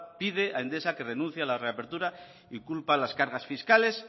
pide a endesa que renuncie a la reapertura y culpa a las cargas fiscales